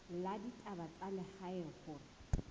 la ditaba tsa lehae hore